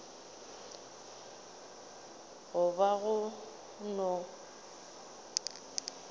go ba gona pele ga